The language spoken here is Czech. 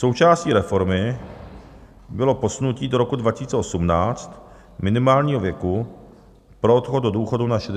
Součástí reformy bylo posunutí do roku 2018 minimálního věku pro odchod do důchodu na 62 let.